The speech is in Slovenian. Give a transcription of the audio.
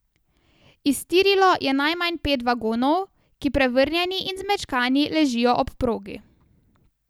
Iztirilo je najmanj pet vagonov, ki prevrnjeni in zmečkani ležijo ob progi.